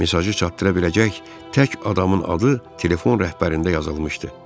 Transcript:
Mesajı çatdıra biləcək tək adamın adı telefon rəhbərində yazılmışdı.